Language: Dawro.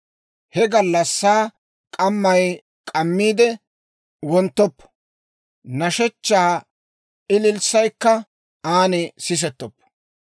He gallassaa k'ammay k'ammiide wonttoppo; nashshechchaa ililssaykka an sisettoppo.